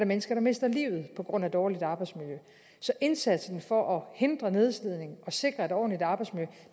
mennesker der mister livet på grund af dårligt arbejdsmiljø så indsatsen for at hindre nedslidning og sikre et ordentligt arbejdsmiljø